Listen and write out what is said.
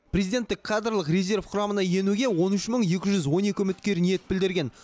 президенттік кадрлық резерв құрамына енуге он үш мың екі жүз он екі үміткер ниет білдірген